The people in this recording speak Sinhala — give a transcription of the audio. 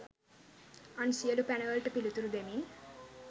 අන් සියලු පැන වලට පිළිතුරු දෙමින්